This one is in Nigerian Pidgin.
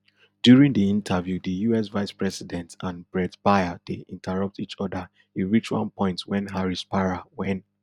during di interview di us vicepresident and bret baier dey interrupt each oda e reach one point wen harris para wen